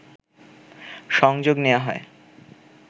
সংযোগ নেওয়া হয়